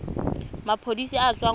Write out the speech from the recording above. maphodiseng a a tswang kwa